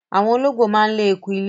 Àwọn olóńgbò máa ń lé eku ilé.